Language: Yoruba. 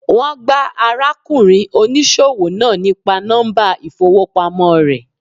Wón gbá ara kùnrin oníṣòwò náà nípa nọ́mbà ìfowópamọ́ re